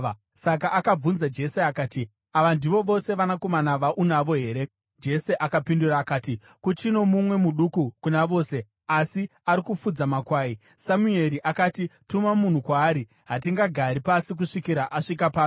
Saka akabvunza Jese akati, “Ava ndivo vose vanakomana vaunavo here?” Jese akapindura akati, “Kuchino mumwe muduku kuna vose, asi ari kufudza makwai.” Samueri akati, “Tuma munhu kwaari; hatingagari pasi kusvikira asvika pano.”